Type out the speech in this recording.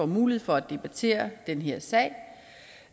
mulighed for at debattere den her sag